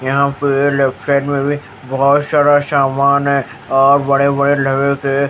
यहाँ पे left side में भी बहुत शारा शामान है और बड़े-बड़े लेवे के--